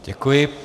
Děkuji.